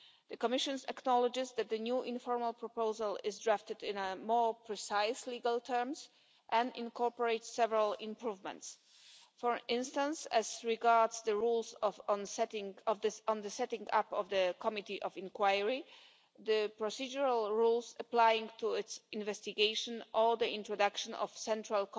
The Commission acknowledges that the new informal proposal is drafted in more precise legal terms and incorporates several improvements for instance, as regards the rules on the setting up of the committee of inquiry, the procedural rules applying to its investigation or the introduction of a central